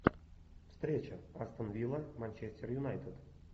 встреча астон вилла манчестер юнайтед